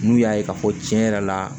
N'u y'a ye k'a fɔ tiɲɛ yɛrɛ la